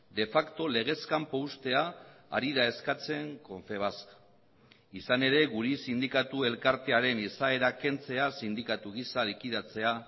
de facto legez kanpo uztea ari da eskatzen confebask izan ere gure sindikatu elkartearen izaera kentzea sindikatu gisa likidatzea